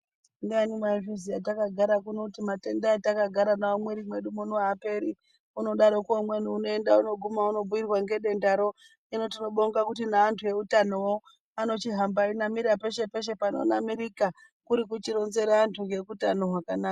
Ndiani waizviziya takagara kuno kuti matenda atakagara nawo mumwiri mwedu muno aaperi unodarokWo umweni unoenda unoguma unobhuirwa ngedendaro hino tinobonga kuti neantu eutanowo anochihamba einamira peshe peshe panonamirirka kuri kuchironzera antu ngekutano hwakanaka.